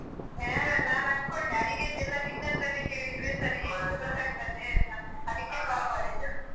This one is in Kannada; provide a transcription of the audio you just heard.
ಆಯ್ತು ನಾನ್ ಅನ್ಕೊಂಡೆ ಅಡಿಗೆಯದ್ದೆಲ್ಲಾ ನಿನ್ನತ್ರನೆ ಕೇಳಿದ್ರೆ ಸರಿ ಗೊತ್ತಾಗ್ತದೆಯಂತ ಅದಿಕ್ಕೆ call ಮಾಡಿದ್ದು.